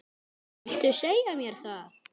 Viltu segja mér það?